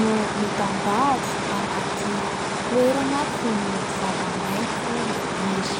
no mitandahatra anaty toerana feno zava-maitso maniry.